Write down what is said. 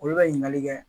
Olu bɛ ɲininkali kɛ